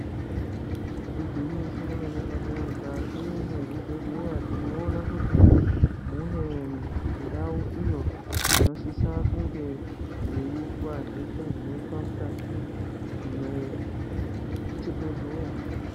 Igwinyiso remene-mene mukati mezvibhedhlera tinoone kuti mune ndau iyo inosisa kunge yeiitwa zveshe zvinoitwa mukati mwechibhedhlera.